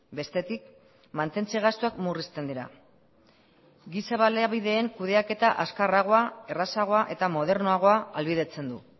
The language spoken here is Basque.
bestetik mantentze gastuak murrizten dira giza baliabideen kudeaketa azkarragoa errazagoa eta modernoagoa ahalbidetzen du